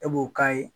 E b'o k'a ye